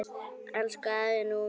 Elsku afi Númi.